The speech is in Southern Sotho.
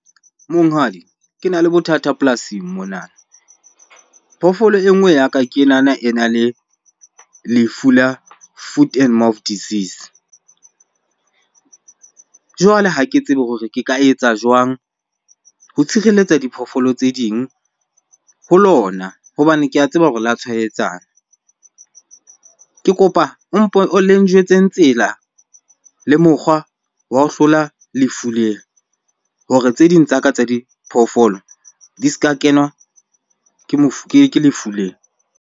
Monghadi, kena le bothata polasing mona. Phoofolo e nngwe ya ka, ke ena le lefu la foot and mouth disease. Jwale ha ke tsebe hore ke ka etsa jwang ho tshireletsa diphoofolo tse ding ho lona hobane ke a tseba hore le ya tshwaetsana. Ke kopa o mpo o le njwetseng tsela le mokgwa wa ho hlola lefu lena hore tse ding tsa ka tsa diphoofolo di ska kenwa ke ke lefu lena.